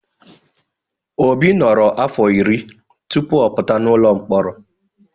Obi nọrọ afọ iri tupu ọ pụta n'ụlọ mkpọrọ.